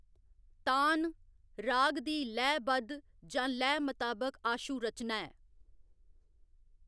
तान, राग दी लैऽ बद्ध जां लैऽ मताबक आशु रचना ऐ।